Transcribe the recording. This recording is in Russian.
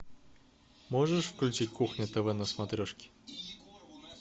можешь включить кухня тв на смотрешке